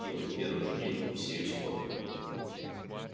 и вот в первый же день мы все испортили